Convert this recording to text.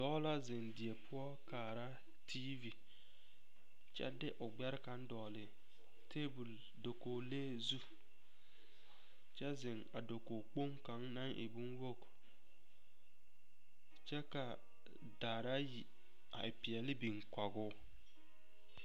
Dɔɔ la ziŋ die poɔ kaara tiivi kyɛ de o gbɛre kaŋ dɔgle tabol dakogilee zu kyɛ zeŋ a dakogikpoŋ kaŋ naŋ e bonwogi kyɛ ka daare ayi a e peɛle biŋ kɔge o.